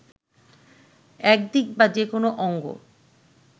একদিক বা যেকোনো অঙ্গ